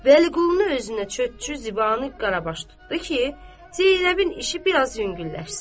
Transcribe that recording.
Vəliqulunu özünə çötçü, zibanı, qarabaş tutdu ki, Zeynəbin işi biraz yüngülləşsin.